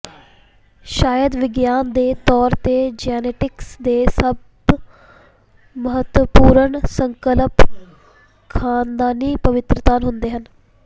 ਸ਼ਾਇਦ ਵਿਗਿਆਨ ਦੇ ਤੌਰ ਤੇ ਜੈਨੇਟਿਕਸ ਦੇ ਸਭ ਮਹੱਤਵਪੂਰਨ ਸੰਕਲਪ ਖਾਨਦਾਨੀ ਪਰਿਵਰਤਨ ਹੁੰਦੇ ਹਨ